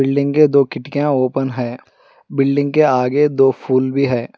Building के दो खिड़कियां ओपन है बिल्डिंग के आगे दो फूल भी है।